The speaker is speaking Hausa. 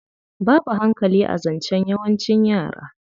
Babu hankali a zancen yawancin yara.